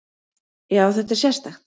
Já, þetta er sérstakt.